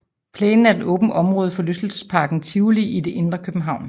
Plænen er et åbent område i forlystelsesparken Tivoli i det indre København